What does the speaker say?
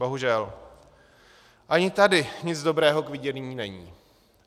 Bohužel, ani tady nic dobrého k vidění není.